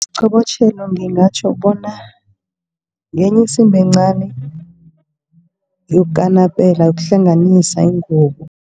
Isiqobotjhelo ngingatjho bona ngenye isimbi encani yokukanapela, yokuhlanganisa ingubo.